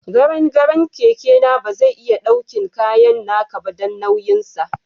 Garen garen keke na ba zai iya daukin kayan naka ba, dan nauyin sa.